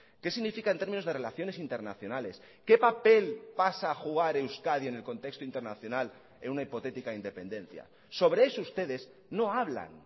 qué significa en términos de relaciones internacionales qué papel pasa a jugar euskadi en el contexto internacional en una hipotética independencia sobre eso ustedes no hablan